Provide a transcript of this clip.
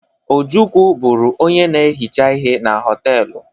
Ojukwu bụrụ onye na-ehicha ihe na họtelụ.